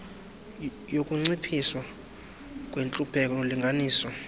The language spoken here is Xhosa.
yokuncitshiswa kwentlupheko nolinganiso